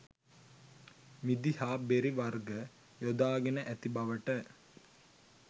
මිදි හා බෙරි වර්ග යොදාගෙන ඇති බවට